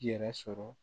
Yɛrɛ sɔrɔ